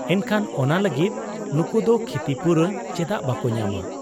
ᱮᱱᱠᱷᱟᱱ ᱚᱱᱟ ᱞᱟᱹᱜᱤᱫ ᱱᱩᱠᱩᱫᱚ ᱠᱷᱤᱛᱤᱯᱩᱨᱚᱱ ᱪᱮᱫᱟᱜ ᱵᱟᱠᱚ ᱧᱟᱢᱟ ᱾